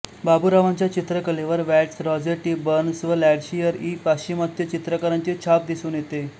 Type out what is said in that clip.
बाबूरांवांच्या चित्रकलेवर Watts Rossetti Burns व Landseer इ पाश्चिमात्य चित्रकारांची छाप दिसून येते